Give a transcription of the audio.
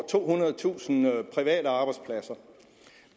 tohundredetusind private arbejdspladser